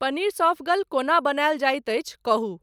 पनीर सौंफगल कोना बनायल जाहि अछि कहुँ